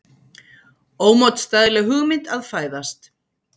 Ómótstæðileg hugmynd að fæðast.